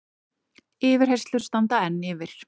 Yfirheyrslur standa enn yfir